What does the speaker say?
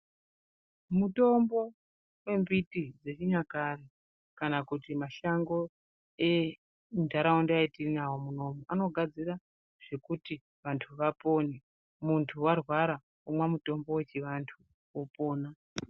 Mitombo yembiti dzechinyakare kana kuti mashango enharaunda yatiinayo munomu anogadzira zvekuti vanthu vapone. Munhu warwara womwa mutombo wechivanhu wopona.